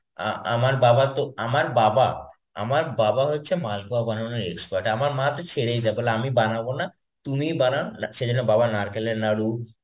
আ~ আমার বাবা তো আমার বাবা আমার বাবা হচ্ছে মালপোয়া বানানোর expert. আমার মা তো ছেড়েই দেয়, বলে আমি বানাবো না তুমিই বানাও, সেইজন্যে বাবা নারকেলের নারু,